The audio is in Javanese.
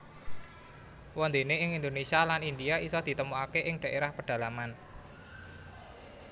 Wondene ing Indonesia lan India iso ditemukake ing daerah pedalaman